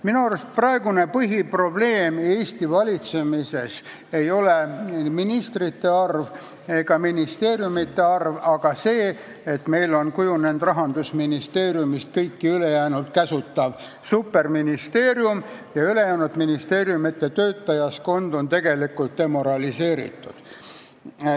Minu arust praegune põhiprobleem Eesti valitsemises ei ole ministrite arv ega ministeeriumide arv, vaid see, et meil on Rahandusministeeriumist saanud kõiki ülejäänud ministeeriume käsutav superministeerium ja teiste ministeeriumide töötajaskond on tegelikult demoraliseeritud.